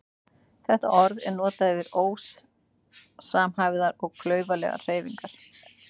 Þetta orð er notað yfir ósamhæfðar og klaufalegar hreyfingar.